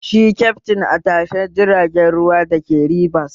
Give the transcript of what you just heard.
Shi kyaftin a tashar jiragen ruwa da ke Ribas